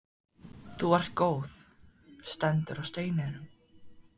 Þú ert góð, stendur á steininum.